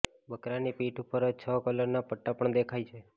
બકરાની પીઠ ઉપર છ કલરના પટ્ટા પણ દેખાય છે